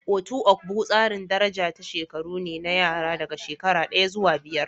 Otu ogbo tsarin daraja ta shekaru ne na yara daga shekara daya zuwa biyar.